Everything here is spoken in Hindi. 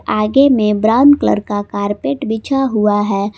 आगे में ब्राउन कलर का कारपेट बिछा हुआ है।